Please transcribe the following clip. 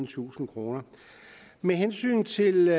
tusind kroner med hensyn til